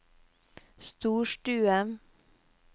storstue